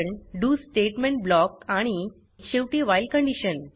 do statement block आणि शेवटी while condition